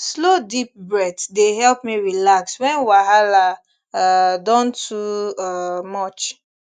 slow deep breath dey help me relax when wahala um don too um much